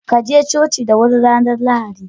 Kaje coci da huri ranar lahadi.